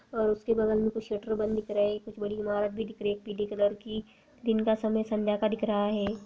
और उसके बगल मे कुछ पेट्रोल-पम्प रहे है कुछ बड़ी इमारत भी दिख रही है पीली कलर की दिन का समय संध्या का दिख रहा है।